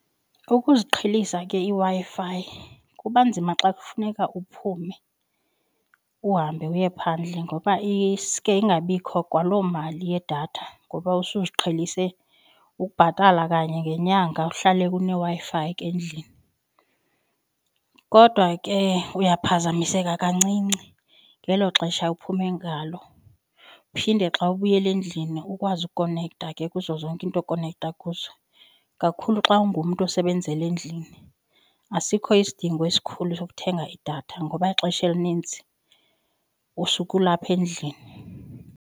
Ukuziqhelisa ke iWi-Fi kuba nzima xa kufuneka uphume uhambe uye phandle ngoba iske ingabikho kwaloo mali yedatha ngoba usuziqhelise ukubhatala kanye ngenyanga kuhlale kuneWi-Fi ke endlini. Kodwa ke uyaphazamiseka kancinci ngelo xesha uphume ngalo, uphinde xa ubuyela endlini ukwazi ukonektha ke kuzo zonke into okonektha kuzo kakhulu xa ungumntu osebenzela endlini asikho isidingo esikhulu sokuthenga idatha ngoba ixesha elinintsi usukulapha endlini.